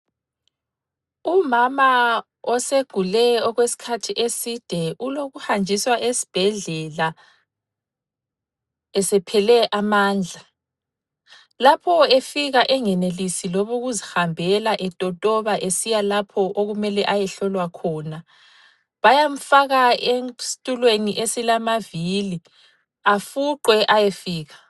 Umama osegule okwesikhathi eside ulokuhanjiswa esibhedlela, esephele amandla. Lapho efika engenilisi loba ukuzihambela etotoba esiya lapho okumele ayehlolwa khona bayamfaka esitulweni esilamavili afuqwe ayefika.